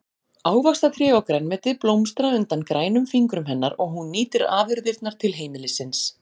Ávaxtatré og grænmeti blómstra undan grænum fingrum hennar og hún nýtir afurðirnar til heimilisins.